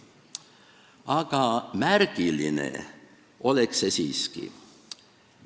Aga märgiline oleks see siiski.